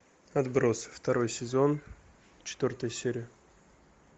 отбросы второй сезон четвертая серия